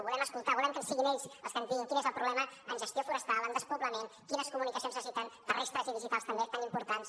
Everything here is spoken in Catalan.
volem escoltar volem que siguin ells els que ens diguin quin és el problema en gestió forestal en despoblament quines comunicacions necessiten terrestres i digitals també tan importants